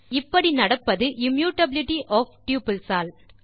இப்படி நடப்பது immutability of tuples all